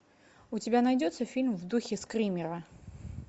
у тебя найдется фильм в духе скримера